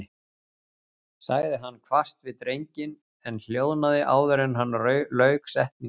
sagði hann hvasst við drenginn en hljóðnaði áður en hann lauk setningunni.